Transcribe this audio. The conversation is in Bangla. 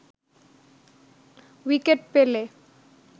উইকেট পেলে